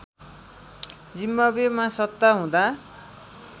जिम्बाब्वेमा सत्ता हुँदा